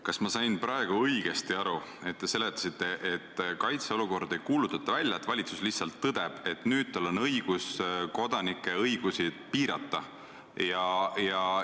Kas ma sain praegu teie seletusest õigesti aru, et kaitseolukorda ei kuulutata välja, valitsus lihtsalt tõdeb, et nüüd tal on õigus kodanike õigusi piirata?